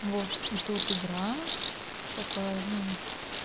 вот и тут игра такая ну